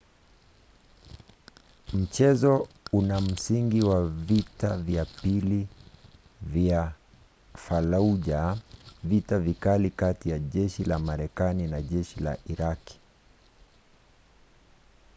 mchezo una msingi wa vita vya pili vya fallujah vita vikali kati ya jeshi la marekani na jeshi la iraqi